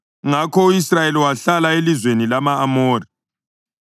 Ngakho u-Israyeli wahlala elizweni lama-Amori.